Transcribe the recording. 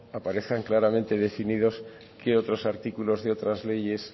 aparezcan claramente definidos qué otros artículos de otras leyes